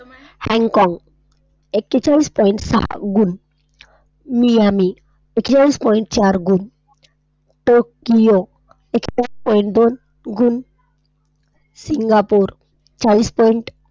Hongkong एकेचाळीस Point सहा गुण, मियामी, Point चार गुण, टोकियो, Point दोन गुण, सिंगापूर चाळीस Point.